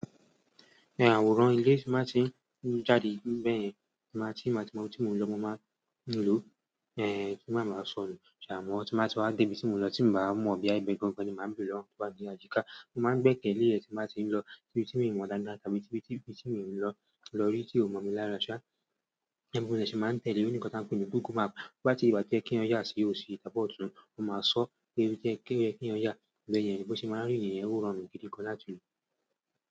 Awọ̀ran ilé tí máa tí ń jáde bẹ́ẹ̀ yẹn, tí i báa tí mọ ibi ti mo lọ, mo máa ń lo, kí máa báa sọnù. Amo ti i baa ti wa de ibi ti i mo n lo, ti i ba wa mọ boya ibẹ gangan ni, máa bẹrẹ lọwọ àwọn to wà ni àyíká. Mo máa ń gbé kan le ẹ̀ tí n báa tí ń lọ ibi tí mi mọ̀ dáadáa tàbí ibi tí mi ń lọ rí tí ò mọ̀ mi lára. Bi mo ṣe máa ń tẹ̀lé. Ó ní nǹkan tí a ń pè ní Google Map. Bí á ti rín, ìgbà ti i yẹ ki èèyàn oya sí osi tàbí ọ̀tún, o máa sọ pé ibi to yẹ ki èèyàn oyà bẹ̀ yẹn bí o ṣe máa rí niyẹn ó rọrùn gidi gan láti lo.